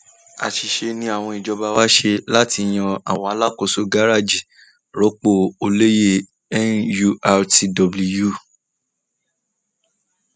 àṣìṣe nì awon jọba wá ṣe láti yan àwọn alákòóso garaajì rọpò olóyè nurtw